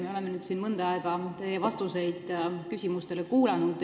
Me oleme siin nüüd mõnda aega kuulanud teie vastuseid küsimustele.